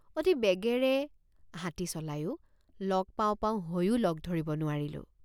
অতি বেগেৰে হাতী চলায়ো লগ পাওঁ পাওঁ হৈয়ো লগ ধৰিব নোৱাৰিলোঁ।